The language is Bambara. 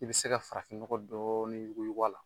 I bɛ se ka farafin nɔgɔ dɔɔnin yuguyugu a la.